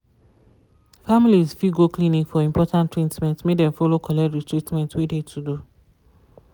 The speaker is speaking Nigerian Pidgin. families fi go clinic for important treatment make dem follow collect de treatment wey de to do.